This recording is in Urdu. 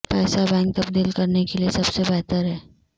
پیسہ بینک تبدیل کرنے کے لئے سب سے بہتر ہے